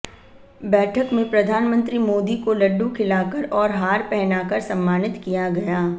बैठक में प्रधानमंत्री मोदी को लड्डू खिलाकर और हार पहनाकर सम्मानित किया गया